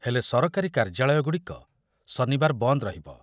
ହେଲେ ସରକାରୀ କାର୍ଯ୍ୟାଳୟଗୁଡ଼ିକ ଶନିବାର ବନ୍ଦ ରହିବ।